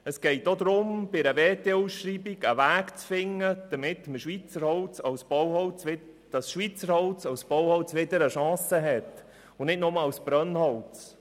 Es geht auch darum, bei einer WTO-Ausschreibung einen Weg zu finden, damit Schweizer Holz wieder eine Chance als Bauholz hat und nicht nur als Brennholz.